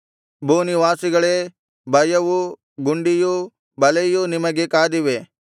ಭೂನಿವಾಸಿಗಳೇ ಭಯವೂ ಗುಂಡಿಯೂ ಬಲೆಯೂ ನಿಮಗೆ ಕಾದಿವೆ